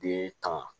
Den kama